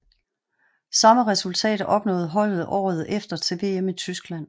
Samme resultat opnåede holdet året efter til VM i Tyskland